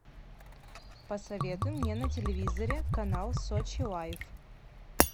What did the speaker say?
посоветуй мне на телевизоре канал сочи лайф